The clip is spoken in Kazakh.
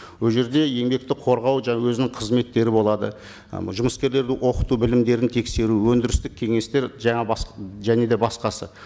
ол жерде еңбекті қорғау жаңа өзінің қызметтері болады ы жұмыскерлерді оқыту білімдерін тексеру өндірістік кеңестер жаңа және де басқасы